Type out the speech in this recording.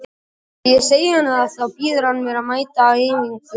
Þegar ég segi honum það þá býður hann mér að mæta á æfingu daginn eftir.